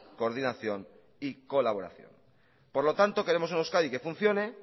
coordinación y colaboración por lo tanto queremos en euskadi que funcione